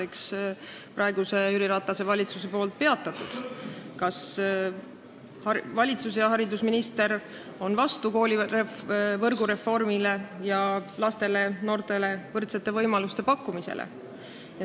Kas valitsus ja haridusminister on vastu koolivõrgureformile ja lastele ning noortele võrdsete võimaluste pakkumisele?